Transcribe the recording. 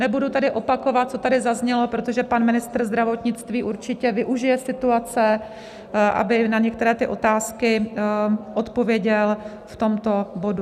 Nebudu tady opakovat, co tady zaznělo, protože pan ministr zdravotnictví určitě využije situace, aby na některé ty otázky odpověděl v tomto bodu.